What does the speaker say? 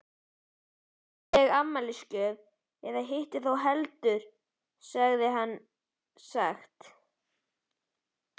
Hugguleg afmælisgjöf eða hitt þó heldur, hafði hann sagt.